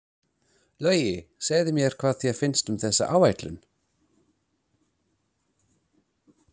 Logi, segðu mér, hvað finnst þér um þessa áætlun?